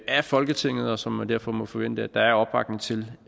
af folketinget og som man derfor må forvente at der er opbakning til